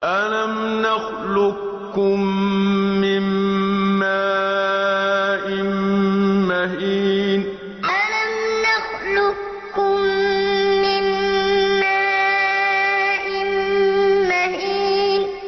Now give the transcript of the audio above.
أَلَمْ نَخْلُقكُّم مِّن مَّاءٍ مَّهِينٍ أَلَمْ نَخْلُقكُّم مِّن مَّاءٍ مَّهِينٍ